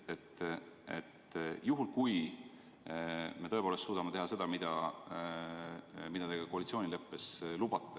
Oletame, et me tõepoolest suudame teha seda, mida te koalitsioonileppes lubate.